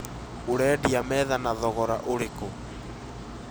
ũredia metha na thogora ũrĩkũ?